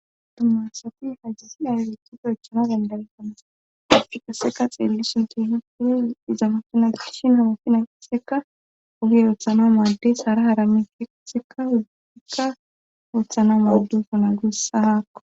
tomasafi hajjasidalilitifo echana gendalfana afikaseka xeellishon tehiiye iza mafhana dishin hamafina seka ogi oothano maaddey sara harami feqseka uzzukka ooththana maaddufu na gussa haakko